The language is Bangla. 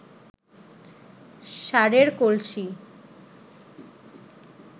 সারের কলসি